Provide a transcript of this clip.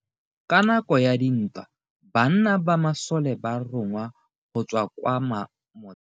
Ka nako ya dintwa banna ba masole ba rongwa go tswa kwa motheo.